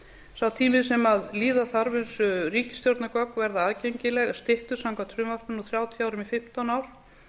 sá tími sem líða þarf þar til ríkisstjórnargögn verða aðgengileg er styttur samkvæmt frumvarpinu úr þrjátíu árum í fimmtán ár